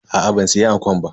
Aa ban siya ankon ba.